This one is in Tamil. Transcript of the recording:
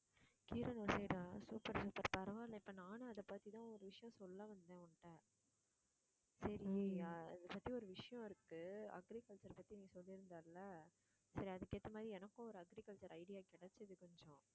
கீரனுர் side ஆ super super பரவாயில்லை இப்ப நானும் அதைப் பத்திதான் ஒரு விஷயம் சொல்ல வந்தேன் உன்கிட்ட சரி அ~ அதைப் பத்தி ஒரு விஷயம் இருக்கு agriculture பத்தி நீ சொல்லியிருந்தால சரி அதுக்கு ஏத்த மாதிரி எனக்கும் ஒரு agriculture idea கிடைச்சது கொஞ்சம்